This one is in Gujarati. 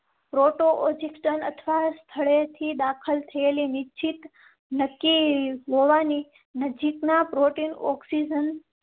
પ્રોટો યોગિકસાન અથવા સ્થળે થી દાખલ થયેલી નિશ્ચિત નક્કી હોવાની નજીકના પ્રોટીન ઑઇન